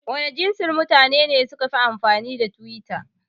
Wana jansi mutane ne sukafi amfani da twitter?